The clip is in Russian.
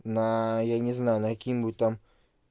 на я не знаю на какие-нибудь там